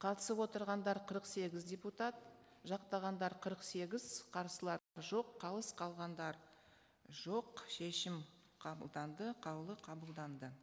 қатысып отырғандар қырық сегіз депутат жақтағандар қырық сегіз қарсылар жоқ қалыс қалғандар жоқ шешім қабылданды қаулы қабылданды